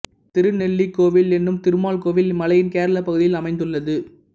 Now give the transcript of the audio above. திருநெல்லி கோவில் என்னும் திருமால் கோவில் இம்மலையின் கேரளப் பகுதியில் அமைந்துள்ளது